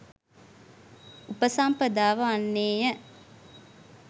උපසම්පදාව වන්නේ ය.